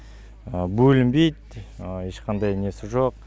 бөлінбейді ешқандай несі жоқ